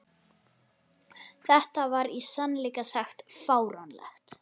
Þetta var í sannleika sagt fáránlegt!